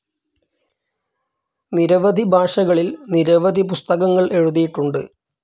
നിരവധി ഭാഷകളിൽ നിരവധി പുസ്തകങ്ങൾ എഴുതിയിട്ടുണ്ട്.